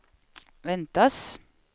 väntas